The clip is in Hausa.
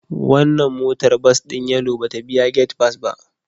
Wannan motar bas din Yellow ba ta biya gate pass ba